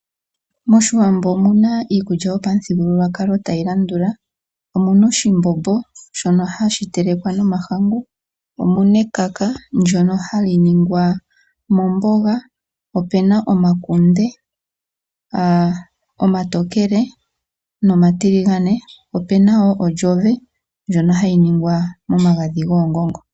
Moshiwambo omuna iikulya yopamuthigululwakalo tayi landula, omuna oshimbombo shono hashi telekwa nomahangu, omuna ekaka ndono hali ningwa momboga, opena omakunde omatokele nomatiligane opena woo odjove ndjono hayi ningwa momagadhi goongongo.